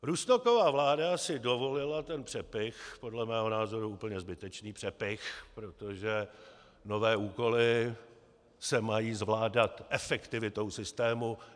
Rusnokova vláda si dovolila ten přepych, podle mého názoru úplně zbytečný přepych, protože nové úkoly se mají zvládat efektivitou systému.